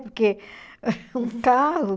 Porque um carro